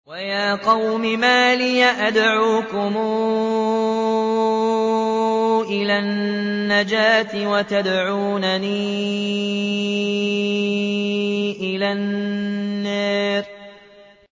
۞ وَيَا قَوْمِ مَا لِي أَدْعُوكُمْ إِلَى النَّجَاةِ وَتَدْعُونَنِي إِلَى النَّارِ